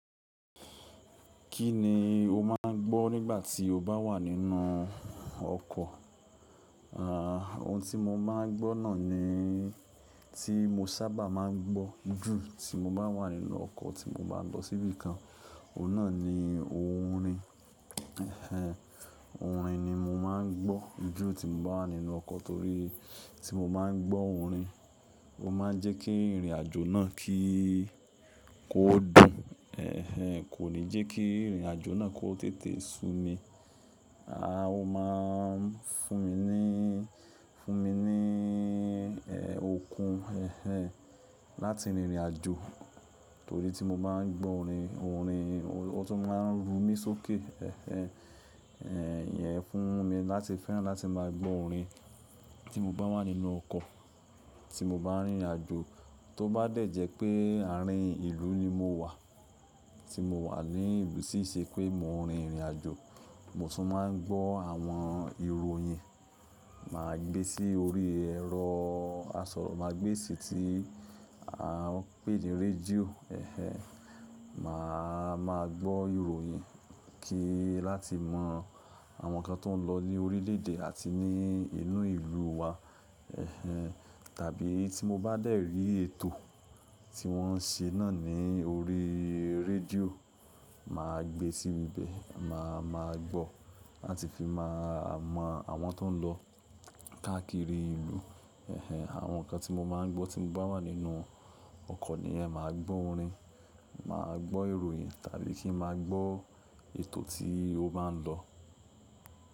Kí ni o máa ń gbọ́ nígbà tí o bá wà nínú ọkọ̀? Ohun tí mo máa ń gbọ́ náà ni tí mo sábà máa ń gbọ́ jù tí mo bá wà nínú ọkọ̀ tí mo bá ń lọ síbí kan, òun náà ni orin. Ẹ̀hen, orin ni mo máa ń gbọ́ jù tí mo bá wà nínú ọkọ̀ torí tí mo bá ń gbọ́ orin, ó máa ń jẹ́ kí ìrìn àjò náà kí kó dùn. Ẹ̀hen, kò ní jẹ́ kí ìrìnàjò náà kó tètè su mi. Ó máa ń fún mi ní, fún mi ní, okun, ẹ̀hen, láti rinrìn àjò torí tí mo bá ń gbọ́ orin, orin, ó tún máa ń ru mí sókè. Ẹ̀hen, ìyẹn fún mi láti fẹ́ràn láti máa gbọ́ orin tí mo bá wà nínú ọkọ̀ tí mo bá ń rìnrìn àjò. Tó bá dẹ̀ jẹ́ pé àárín ìlú ni mo wà, tí mo wà ní ìlú tii ṣe pé mò ń rìnrìn àjò, mo tún máa ń gbọ́ àwọn ìròyìn. Máa gbé sí orí ẹ̀rọ asọ̀rọ̀màágbésí tí a ń pè ní rédíò. Ẹ̀hen, mà á máa gbọ́ ìròyìn kí láti mọ àwọn nǹkan tó ń lọ ní orílẹ̀ èdè àti ní inú ìlúu wa. Ẹ̀hen, tàbí tí mo bá dẹ̀ rí ètò tí wọ́n ń ṣe náà ní orí rédíò, mà á gbé sí ibẹ̀, mà á máa gbọ́ láti fi máa mọ àwọn tó ń lọ káàkiri ìlú. Ẹ̀hen, àwọn nǹkan tí mo máa ń gbọ́ tí mo bá wà nínú ọkọ̀ niyẹn máa gbọ́ orin, máa gbọ́ ìròyìn tàbí kí n máa gbọ́ ètò tí ó bá ń lọ.